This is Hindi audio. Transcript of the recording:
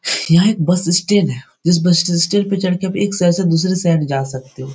यहां एक बस स्टैंड है जिस बस स्टैंड पे चढ़ के आप एक शहर से दुसरे शहर जा सकते हो।